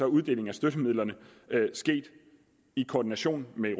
uddelingen af støttemidler sket i koordination med